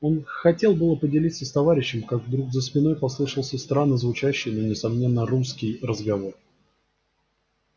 он хотел было поделиться с товарищем как вдруг за спиной послышался странно звучащий но несомненно русский разговор